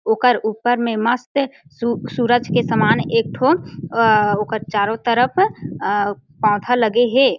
ओकर ऊपर में मस्त सु सूरज के सामान एक ठो अ ओकर चारो तरफ अ पौधा लगे हे। |